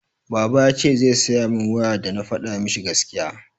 Baba yace zai siya mun waya dana fada mishi gaskiya.